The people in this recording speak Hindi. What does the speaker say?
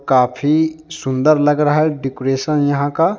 काफी सुंदर लग रहा है डेकोरेशन यहां का।